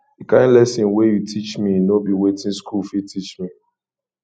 di kain lesson wey you teach me no be wetin skool fit teach me